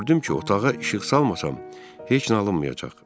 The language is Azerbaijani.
Gördüm ki, otağa işıq salmasam, heç nə alınmayacaq.